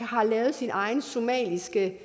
har lavet sin egen somaliske